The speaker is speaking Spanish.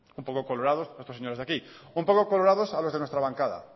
un poco colorados a estos señores de aquí un poco colorados a los de nuestra bancada